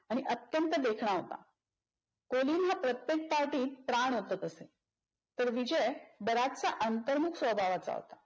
आणि अत्यंत देखणा होता. कोलिन हा प्रत्येक पार्टीत प्राण ओतत असे तर विजय बराचसा अंतर्मुख स्वभावाचा होता